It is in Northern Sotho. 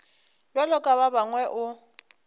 bjalo ka ba bangwe o